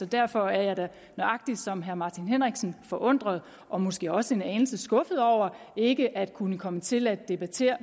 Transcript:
derfor er jeg da nøjagtig som herre martin henriksen forundret og måske også en anelse skuffet over ikke at kunne komme til at debattere